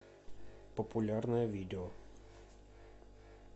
популярное видео